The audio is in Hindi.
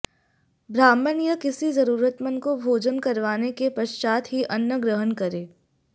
ब्राह्मण या किसी जरूरतमंद को भोजन करवाने के पश्चात ही अन्न ग्रहण करें